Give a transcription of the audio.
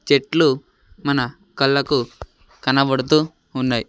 చెట్లు మన కళ్ళకు కనబడుతూ ఉన్నై.